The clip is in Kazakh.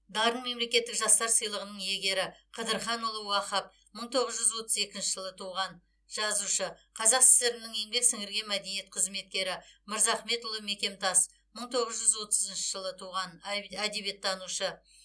дарын мемлекеттік жастар сыйлығының иегері қыдырханұлы уахап мың тоғыз жүз отыз екінші жылы туған жазушы қазақ сср інің еңбек сіңірген мәдениет қызметкері мырзахметұлы мекемтас мың тоғыз жүз отызыншы жылы туған әдебиеттанушы